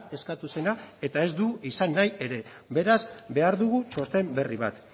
eskatu zena eta ez du izan nahi ere beraz behar dugu txosten berri bat